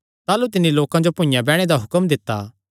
ताह़लू तिन्नी लोकां जो भुइआं बैणे दा हुक्म दित्ता